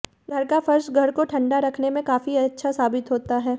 घर का फर्श घर को ठंडा रखने में काफी अच्छा साबित होता है